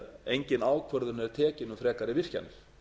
engin ákvörðun er tekin um frekari virkjanir